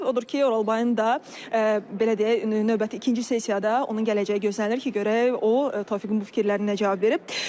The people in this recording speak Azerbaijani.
Odur ki, Oralbayın da belə deyək, növbəti ikinci sessiyada onun gələcəyi gözlənilir ki, görək o Tofiqin bu fikirlərinə nə cavab verib.